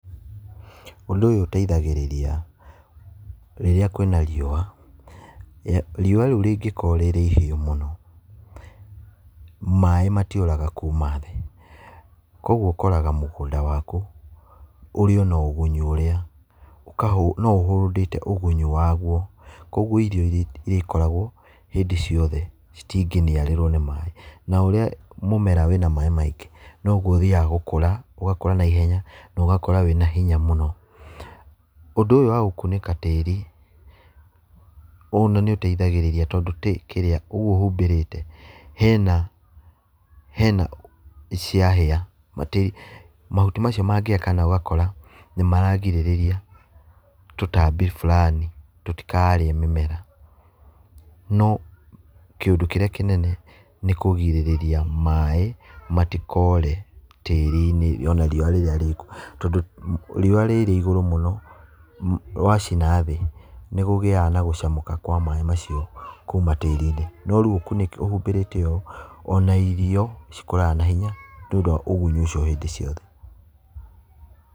Ũndũ ũyũ ũteithagĩrĩria rĩrĩa kwĩna riũa. Riũa rĩu rĩngĩkorwo rĩrĩ ihiũ mũno, maĩ matiũraga kuma thĩ, koguo ũkoraga mũgũnda waku ũrĩ o na ũgunyi ũrĩa, no ũ hold ĩte ũgunyi waguo, koguo irio irĩkoragwo hĩndĩ ciothe citingĩniarĩrwo nĩ maĩ. Na ũrĩa mũmera wĩna maĩ maingĩ, noguo ũthiaga gũkũra, ũgakũra naihenya, na ũgakũra wĩ na hinya mũno. Ũndũ ũyũ wa gũkunĩka tĩĩri ona nĩ ũteithagĩrĩria tondũ kĩrĩa , ũguo humbĩrĩte, hena hena ciahĩa, mahuti macio mangĩgĩa kana ũgakora nĩ maragirĩrĩria tũtambi burani tũtikarĩe mĩmera. No kĩũndũ kĩrĩa kĩnene nĩ kũgirĩrĩria maĩ matikore tĩĩri-inĩ ona riũa rĩrĩa rĩkuo, tondũ riũa rĩrĩ igũrũ mũno rwacina thĩ, nĩkũgĩaga na gũcamũka kwa maĩ macio kuma tĩĩri-inĩ. No rĩu ũhumbĩrĩte ũũ, ona irio cikũraga na hinya nĩ tondũ wa ũgunyu ũcio hĩndĩ ciothe.